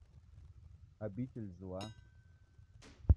обитель зла